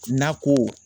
Nako